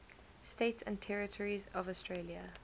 states and territories of australia